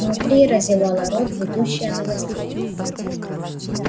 внутри разевала рот ведущая новостей